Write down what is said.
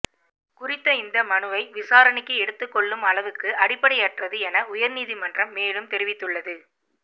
குறித்த இந்த மனுவை விசாரணைக்கு எடுத்துக் கொள்ளும் அளவுக்கு அடிப்படையற்றது என உயர் நீதிமன்றம் மேலும் தெரிவித்துள்ளது